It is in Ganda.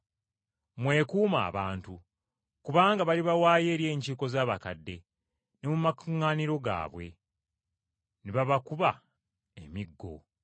Mwekuume abantu! Kubanga balibawaayo eri enkiiko z’Abakadde, ne mu makuŋŋaaniro gaabwe, ne babakuba emigo.